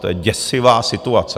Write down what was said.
To je děsivá situace!